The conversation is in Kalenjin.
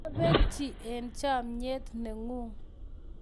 kiabetchi eng' chamiet ne ng'un